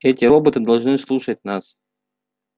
эти роботы должны слушать нас